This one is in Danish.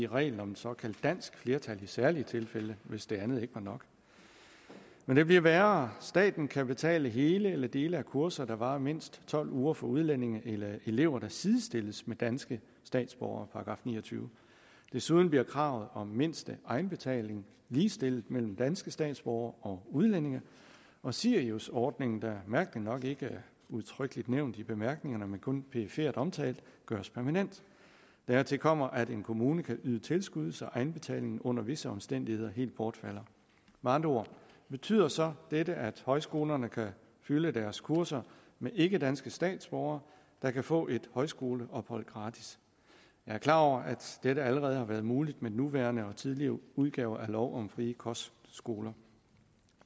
reglen om et såkaldt dansk flertal i særlige tilfælde hvis det andet ikke var nok men det bliver værre staten kan betale hele eller dele af kurser der varer mindst tolv uger for udlændinge eller elever der sidestilles med danske statsborgere § niogtyvende desuden bliver kravet om mindste egenbetaling ligestillet mellem danske statsborgere og udlændinge og siriusordningen der mærkeligt nok ikke er udtrykkeligt nævnt i bemærkningerne men kun perifert omtalt gøres permanent dertil kommer at en kommune kan yde tilskud så egenbetalingen under visse omstændigheder helt bortfalder med andre ord betyder så dette at højskolerne kan fylde deres kurser med ikkedanske statsborgere der kan få et højskoleophold gratis jeg er klar over at dette allerede har været muligt med den nuværende og de tidligere udgaver af lov om frie kostskoler